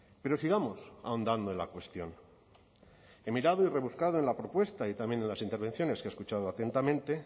pero sigamos ahondando en la cuestión he mirado y rebuscado en la propuesta y también en las intervenciones que he escuchado atentamente